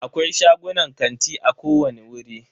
Akwai shagunan kanti a kowani wuri.